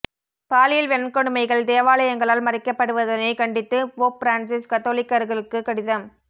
பாலியல் வன்கொடுமைகள் தேவாலயங்களால் மறைக்கப்படுவதனைக் கண்டித்து போப் பிரான்ஸிஸ் கத்தோலிக்கர்களுக்கு கடிதம்